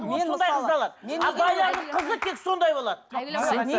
а байлардың қызы тек сондай болады